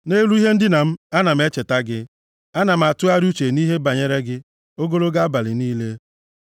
Nʼelu ihe ndina m, ana m echeta gị, ana m atụgharị uche nʼihe banyere gị, ogologo abalị niile.